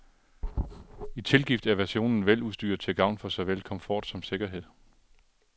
I tilgift er versionen veludstyret til gavn for såvel komfort som sikkerhed.